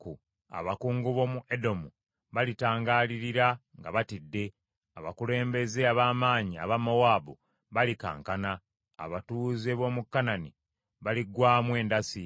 Abakungu b’omu Edomu balitangaalirira nga batidde; abakulembeze ab’amaanyi aba Mowaabu balikankana; abatuuze b’omu Kanani baliggwaamu endasi.